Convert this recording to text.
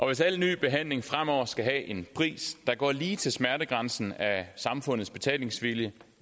hvis al ny behandling fremover skal have en pris der går lige til smertegrænsen af samfundets betalingsvilje